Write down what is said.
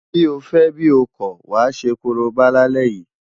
Bí o fẹ́ bí o kọ̀, wàá ṣe korobá lálẹ́ yìí!